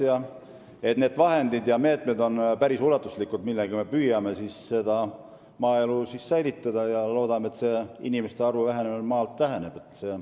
Nii et need vahendid ja meetmed on päris ulatuslikud, millega me püüame maaelu säilitada, ja me loodame, et inimeste arvu vähenemine pidurdub.